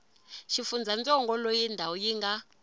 xifundzantsongo loyi ndhawu yi nga